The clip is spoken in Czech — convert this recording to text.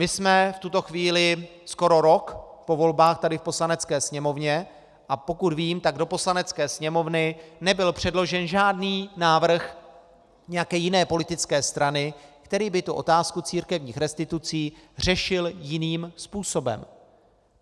My jsme v tuto chvíli skoro rok po volbách tady v Poslanecké sněmovně, a pokud vím, tak do Poslanecké sněmovny nebyl předložen žádný návrh nějaké jiné politické strany, který by tu otázku církevních restitucí řešil jiným způsobem.